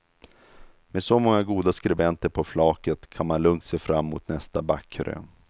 Med så många goda skribenter på flaket kan man lugnt se fram mot nästa backkrön.